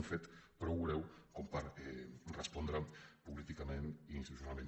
un fet prou greu per respondre hi políticament i institucionalment